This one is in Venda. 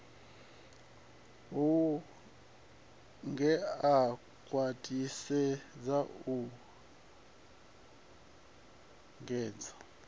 hu ngea khwathisedza u engedza